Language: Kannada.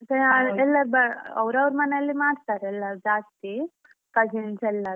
ಅವ್ರವ್ರ್ ಮನೇಲಿ ಮಾಡ್ತಾರೆ ಎಲ್ಲರು ಜಾಸ್ತಿ cousins ಎಲ್ಲಾರು.